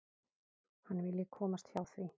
Hann vilji komast hjá því.